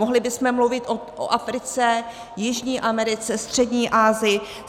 Mohli bychom mluvit o Africe, Jižní Americe, Střední Asii.